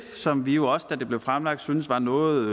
som vi jo også da det blev fremsat syntes var noget